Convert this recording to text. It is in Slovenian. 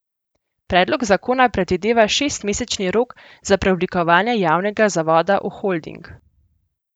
Predlog zakona predvideva šestmesečni rok za preoblikovanje javnega zavoda v holding.